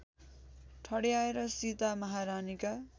ठड्याएर Sita महारानीका